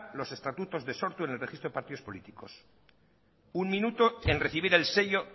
los estatutos de sortu en el registro de partidos políticos un minuto en recibir el sello